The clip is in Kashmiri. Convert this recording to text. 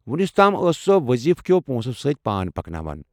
وُنِس تام ٲس سۄ وضیفہٕ کٮ۪و پونٛسو سۭتۍ پان پکناوان۔